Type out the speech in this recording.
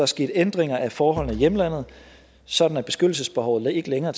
sket ændringer af forholdene i hjemlandet sådan at beskyttelsesbehovet ikke længere